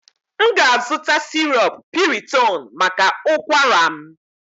M ga-azụta syrup piriton maka ụkwara m